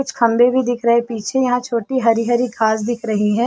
कुछ खम्बे भी दिख रहे हैं पीछे यहाँ छोटी हरी - हरी घास दिख रही है।